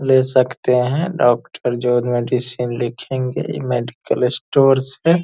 ले सकते हैं डॉक्टर जो मेडिसिन लिखेंगे मेडिकल स्टोर से --